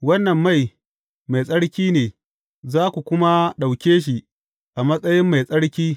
Wannan mai, mai tsarki ne, za ku kuma ɗauke shi a matsayi mai tsarki.